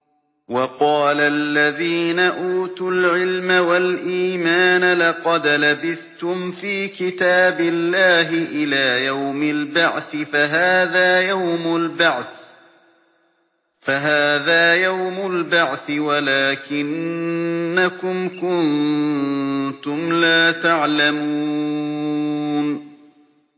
وَقَالَ الَّذِينَ أُوتُوا الْعِلْمَ وَالْإِيمَانَ لَقَدْ لَبِثْتُمْ فِي كِتَابِ اللَّهِ إِلَىٰ يَوْمِ الْبَعْثِ ۖ فَهَٰذَا يَوْمُ الْبَعْثِ وَلَٰكِنَّكُمْ كُنتُمْ لَا تَعْلَمُونَ